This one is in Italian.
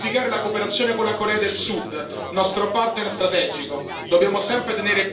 È fondamentale intensificare la cooperazione con la Corea del Sud, nostro partner strategico.